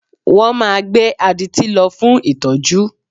Wọ́n máa gbé adití lọ fún ìtọ́jú